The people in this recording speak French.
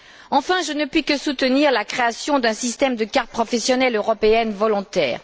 Enfin, je ne puis que soutenir la création d'un système de carte professionnelle européenne volontaire.